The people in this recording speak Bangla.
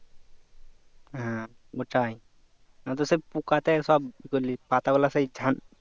হ্যাঁ ওটাই নয়তো সব পোকা তে সব ই করলে পাতা গুলা সব ছান